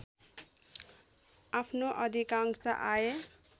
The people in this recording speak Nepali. आफ्नो अधिकांश आय